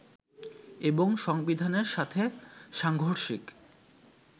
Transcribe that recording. এবং সংবিধানের সাথে সাংঘর্ষিক